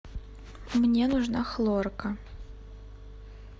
мне нужна хлорка